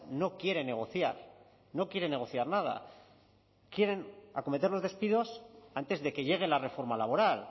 no quiere negociar no quiere negociar nada quieren acometer los despidos antes de que llegue la reforma laboral